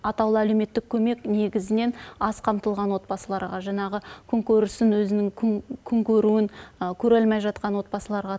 атаулы әлеуметтік көмек негізінен аз қамтылған отбасыларға жаңағы күн көрісін өзінің күн көруін көре алмай жатқан отбасыларға